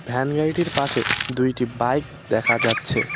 Van গাড়িটির পাশে দুইটি বাইক দেখা যাচ্ছে।